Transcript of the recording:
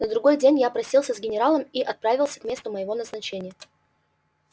на другой день я простился с генералом и отправился к месту моего назначения